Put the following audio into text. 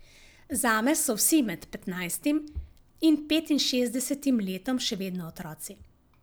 Zame so vsi med petnajstim in petinšestdesetim letom še vedno otroci.